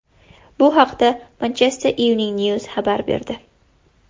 Bu haqda Manchester Evening News xabar berdi .